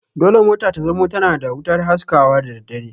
Dole mota ta zamo tana da wutar haskawa da daddare